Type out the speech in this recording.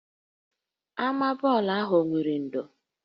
Ama bọọlụ ahụ o nwere ndò?